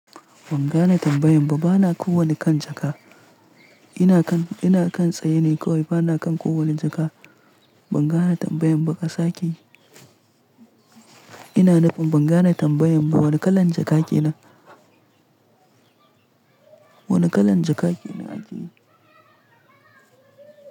Ban gane tambayan ba. Bana kowanne kan jaka. Ina kan, ina kan tsaye ne kawai. Bana kan kowanne jaka. Ban gane tambayan ba ka sake. Ina nufin ban gane tambayan ba. Wane kalan jaka ke nan? Wane kalan jaka ke nan ajiye?